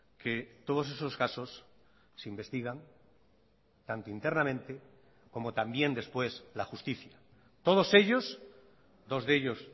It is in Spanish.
que todos esos casos se investigan tanto internamente como también después la justicia todos ellos dos de ellos